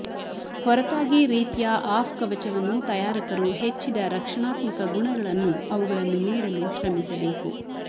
ಹೊರತಾಗಿ ರೀತಿಯ ಆಫ್ ಕವಚವನ್ನು ತಯಾರಕರು ಹೆಚ್ಚಿದ ರಕ್ಷಣಾತ್ಮಕ ಗುಣಗಳನ್ನು ಅವುಗಳನ್ನು ನೀಡಲು ಶ್ರಮಿಸಬೇಕು